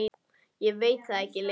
Ég veit það ekki lengur.